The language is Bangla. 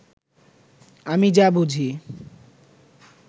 আমি যা বুঝি